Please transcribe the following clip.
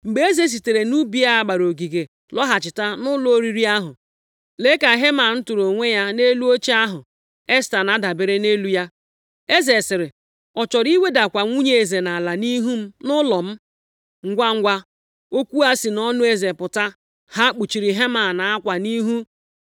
Mgbe eze sitere nʼubi a gbara ogige lọghachita nʼụlọ oriri ahụ, lee ka Heman tụrụ onwe ya nʼelu oche ahụ Esta na-adabere nʼelu ya. Eze sịrị, “Ọ chọrọ iwedakwa nwunye eze nʼala nʼihu m nʼụlọ m?” Ngwangwa okwu a si nʼọnụ eze pụta, ha kpuchiri Heman akwa nʼihu. + 7:8 Ị ji akwa kpukwasị mmadụ nʼihu, maọbụ iji akwa kpuchie isi mmadụ nʼoge ahụ, ọkachasị ma ọ bụrụ nʼihe metụtara eze, pụtara na a maala onye dị otu a ikpe ọnwụ.